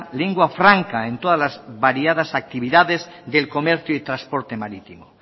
lengua franca en todas las variadas actividades del comercio y transporte marítimo